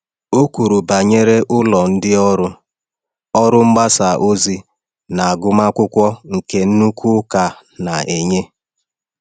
Ọ kwuru banyere ọrụ ndị ụlọ ọrụ mgbasa ozi na agụmakwụkwọ nke nnukwu ụka na-enye.